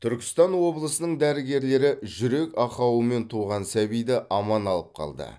түркістан облысының дәрігерлері жүрек ақауымен туған сәбиді аман алып қалды